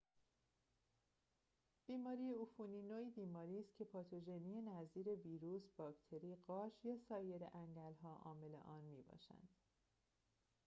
بیماری عفونی نوعی بیماری است که پاتوژنی نظیر ویروس باکتری قارچ یا سایر انگل‌ها عامل آن می‌باشد